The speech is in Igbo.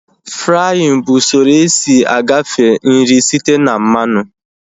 Fraaịn bụ usoro esi agafe nri site na mmanụ